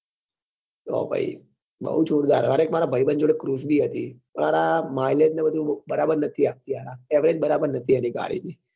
તો પહી બઉ જોરદાર અરે એક માર ભાઈબંધ જોડે cruise બી હતી પણ હારા mileage ને બધું બરાબર નતી આપતી યાર average બરાબર નતી એની ગાડી ની